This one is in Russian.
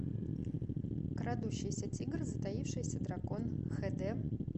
крадущийся тигр затаившийся дракон хд